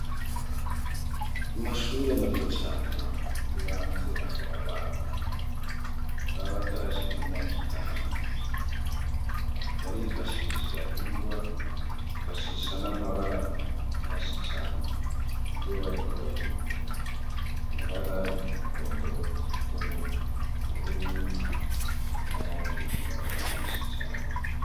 Mu mashure mato cane yibanze aho abana ba batarashikana imyaka itanu barifashisha ingwa ifashisha n'amabara menshi cane iyo bariko bariga amabara y'umuhondo w'umutuku ubururu n'ayandi mabara menshi cane.